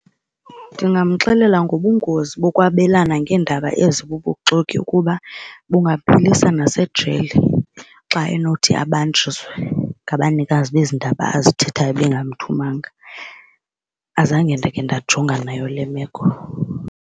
Ndingamxelela ngobungozi bokwabelana ngeendaba ezibubuxoki ukuba bungaphelisa nasejele xa enothi abanjiswe ngabanikazi bezi ndaba azithathayo bangamthumanga. Azange ndake ndajongana nayo le meko.